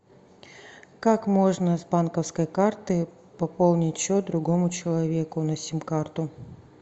как можно с банковской карты пополнить счет другому человеку на сим карту